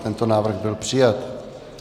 Tento návrh byl přijat.